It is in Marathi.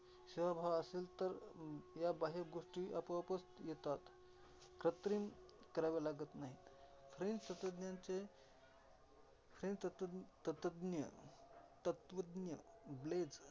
शभाव असेल तर ह्या बाह्य गोष्टी आपोआपच येतात. कृत्रिम कराव्या लागतं नाहीत. फ्रेंच तत्वाज्ञांचे फ्रेंच तत्वज्ञीय, तत्त्वज्ञ BLAJE